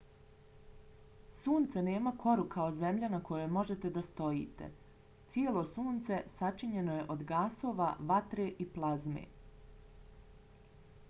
sunce nema koru kao zemlja na kojoj možete da stojite. cijelo sunce sačinjeno je od gasova vatre i plazme